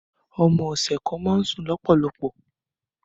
Ọmọ ọ̀sẹ̀ kan máa ń sùn lọ́pọ̀lọpọ̀